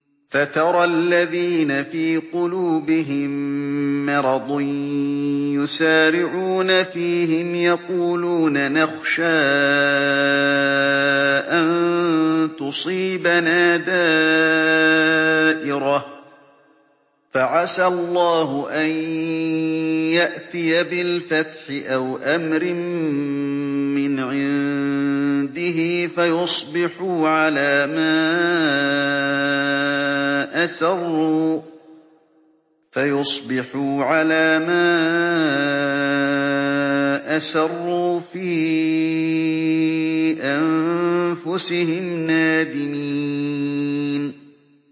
فَتَرَى الَّذِينَ فِي قُلُوبِهِم مَّرَضٌ يُسَارِعُونَ فِيهِمْ يَقُولُونَ نَخْشَىٰ أَن تُصِيبَنَا دَائِرَةٌ ۚ فَعَسَى اللَّهُ أَن يَأْتِيَ بِالْفَتْحِ أَوْ أَمْرٍ مِّنْ عِندِهِ فَيُصْبِحُوا عَلَىٰ مَا أَسَرُّوا فِي أَنفُسِهِمْ نَادِمِينَ